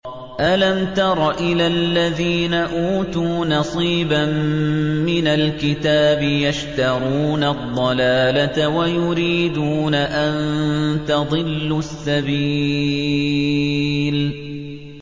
أَلَمْ تَرَ إِلَى الَّذِينَ أُوتُوا نَصِيبًا مِّنَ الْكِتَابِ يَشْتَرُونَ الضَّلَالَةَ وَيُرِيدُونَ أَن تَضِلُّوا السَّبِيلَ